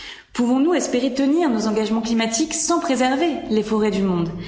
Pouvons nous espérer tenir nos engagements climatiques sans préserver les forêts du monde?